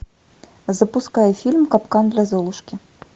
запускай фильм капкан для золушки